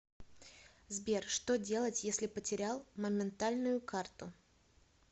сбер что делать если потерял моментальную карту